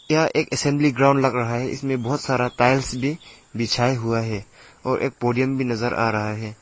यह एक assembly ground लग रहा है इसमें बहोत सारा टाइल्स भी बिछाये हुआ है और एक पोडियम भी नजर आ रहा है।